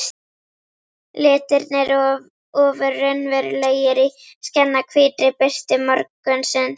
Litirnir ofur raunverulegir í skjannahvítri birtu morgunsins.